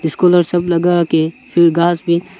सब लगा के फिर घास भी--